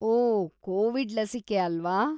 ಓಹ್, Covid ಲಸಿಕೆ ಅಲ್ವಾ?